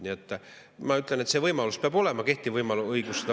Nii et ma ütlen, et see võimalus peab olema, ja kehtiv õigus seda võimalust näeb.